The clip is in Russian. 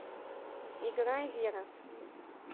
играй вера